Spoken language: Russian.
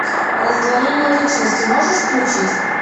раздвоение личности можешь включить